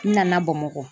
N nana bamakɔ